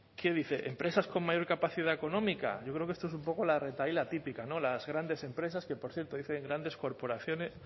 qué dice empresas con mayor capacidad económica yo creo que esto es un poco la retahíla típica no las grandes empresas que por cierto dicen grandes corporaciones